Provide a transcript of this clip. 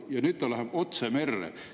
Ja nüüd läheb otse merre.